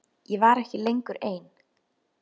Ég var ekki lengur ein.